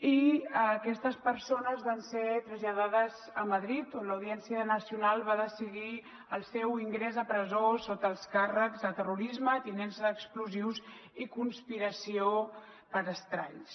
i aquestes persones van ser traslladades a madrid on l’audiència nacional va decidir el seu ingrés a presó sota els càrrecs de terrorisme tinença d’explosius i conspiració per estralls